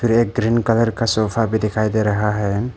एक green colour का sofa भी दिखाई दे रहा है।